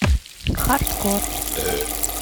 хардкор